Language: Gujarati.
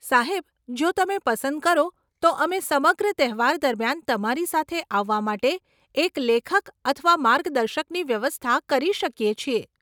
સાહેબ, જો તમે પસંદ કરો, તો અમે સમગ્ર તહેવાર દરમિયાન તમારી સાથે આવવા માટે એક લેખક અથવા માર્ગદર્શકની વ્યવસ્થા કરી શકીએ છીએ.